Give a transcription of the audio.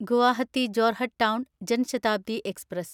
Guwahati Jorhat town Jan Shatabdi express